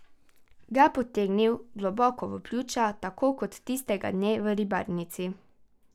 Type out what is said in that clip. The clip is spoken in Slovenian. Ga potegnil globoko v pljuča, tako kot tistega dne v Ribarnici.